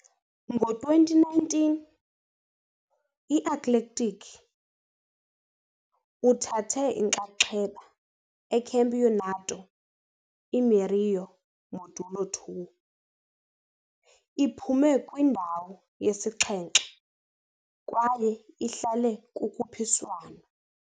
Ngo-2019, i-Athletic uthathe inxaxheba eCampeonato Mineiro Módulo II, iphume kwindawo yesixhenxe kwaye ihlale kukhuphiswano.